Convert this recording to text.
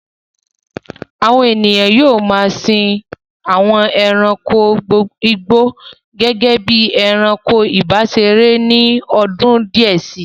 Àwọn ènìyàn yóò ma a sin àwọn ẹranko igbó gẹ́gẹ́ bí i ẹranko ìbáseré ní ọdún díẹ̀ sí.